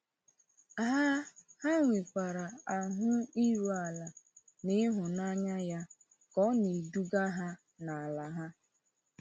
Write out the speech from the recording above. Ha Ha nwekwara ahụ iru ala n’ịhụnanya ya ka ọ na-eduga ha n’ala ha.